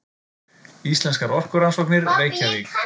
Íslenskar orkurannsóknir, Reykjavík.